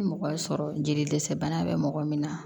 Ni mɔgɔ y'a sɔrɔ jeli dɛsɛ bana bɛ mɔgɔ min na